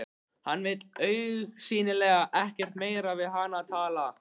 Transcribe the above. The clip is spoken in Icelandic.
Hann vill augsýnilega ekkert meira við hana tala.